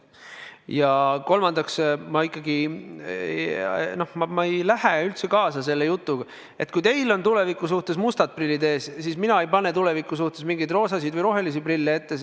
Ja kolmandaks, ma ikkagi ei lähe üldse kaasa selle jutuga, et kui teil on tuleviku suhtes mustad prillid ees, siis minul on tuleviku suhtes mingid roosad või rohelised prillid ees.